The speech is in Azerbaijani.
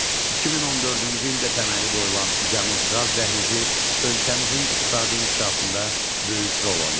2014-cü ildə təməli qoyulan Cənub Qaz Dəhlizi ölkəmizin iqtisadi inkişafında böyük rol oynayır.